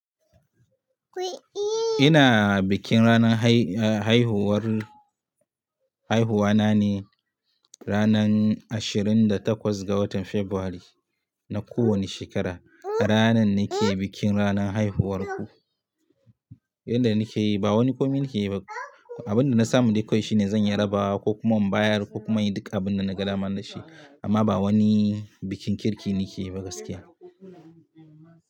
Ina bikin ranar hai-haihuwar, haiwuwa na ne ranar ashirin da takwas ga watan Fabrairu na kowane shekara. Ranar nake bikin ranar haihuwar ku. Inda nake yi ba wani komai nake yi ba. Abin da na samu dai kawai shine zan yi rabawa ko kuma in bayar ko kuma in yi duka abin da na ga dama nashi. Amma ba wani bikin kirki nake yi ba gaskiya.